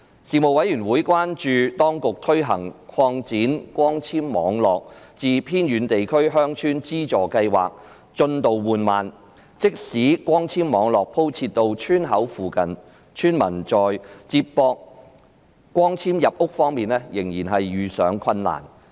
事務委員會關注到，當局推行擴展光纖網絡至偏遠地區鄉村資助計劃的進度緩慢，即使光纖網絡鋪設到村口附近，村民在連接光纖入屋方面仍遇上困難。